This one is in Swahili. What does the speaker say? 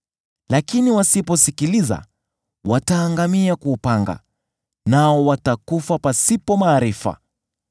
Lakini wasiposikiliza, wataangamia kwa upanga, nao watakufa pasipo maarifa.